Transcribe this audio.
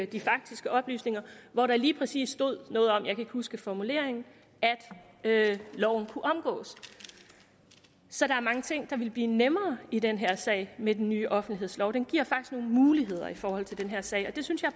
de faktiske oplysninger hvor der lige præcis stod noget om jeg kan huske formuleringen at loven kunne omgås så der er mange ting der ville blive nemmere i den her sag med den nye offentlighedslov den giver faktisk nogle muligheder i forhold til den her sag og det synes jeg